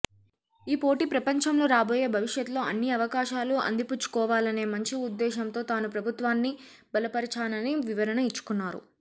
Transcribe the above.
ఈ పోటీ ప్రపంచంలో రాబోయే భవిష్యత్లో అన్ని అవకాశాలు అందిపుచ్చుకోవాలనే మంచి ఉద్దేశంతో తాను ప్రభుత్వాన్ని బలపరిచానని వివరణ ఇచ్చుకున్నారు